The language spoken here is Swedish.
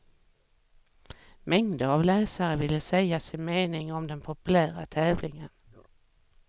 Mängder av läsare ville säga sin mening om den populära tävlingen.